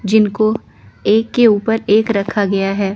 जिनको एक के ऊपर एक रखा गया है।